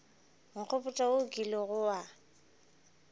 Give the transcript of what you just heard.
nkgopotša wo o kilego wa